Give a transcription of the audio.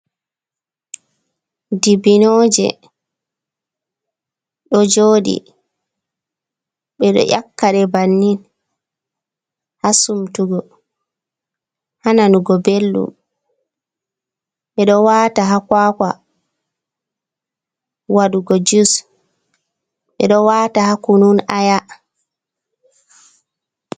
Dibinooje ɗo jooɗii ɓe ɗo nyakkade bannin haa sumtugo, haa nanugo belɗum, ɓe ɗo wata haa kwakwa wadugo jus ɓe ɗo wata haa kunun aya.